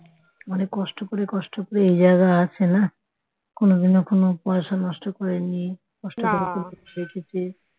অনেক কষ্ট করে কষ্ট পেয়ে এই জায়গায় আছে না, কোনদিনও কোন পয়সা নষ্ট করেনি রেখেছে